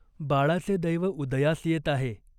बाळाचे दैव उदयास येत आहे.